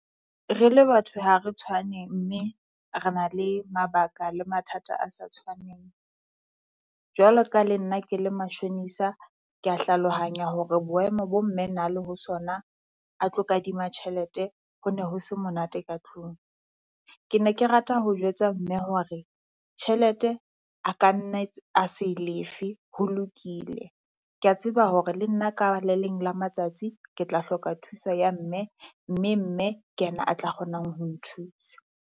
Re le batho ha re tshwane mme re na le mabaka le mathata a sa tshwaneng. Jwalo ka le nna ke le mashonisa, kea hlalohanya hore boemo bo mme na le ho sona a tlo kadima tjhelete ho ne ho se monate ka tlung. Ke ne ke rata ho jwetsa mme hore tjhelete a ka nna a se e lefe ho lokile. Kea tseba hore le nna ka le leng la matsatsi ke tla hloka thuso ya mme, mme mme ke yena a tla kgonang ho nthusa.